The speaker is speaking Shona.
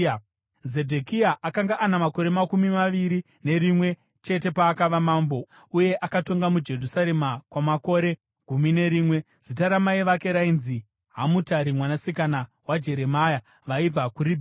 Zedhekia akanga ana makore makumi maviri nerimwe chete paakava mambo, uye akatonga muJerusarema kwamakore gumi nerimwe. Zita ramai vake rainzi Hamutari mwanasikana waJeremia; vaibva kuRibhina.